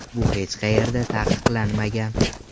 Bu hech qayerda taqiqlanmagan.